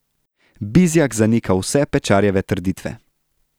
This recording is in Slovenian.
Bizjak zanika vse Pečarjeve trditve.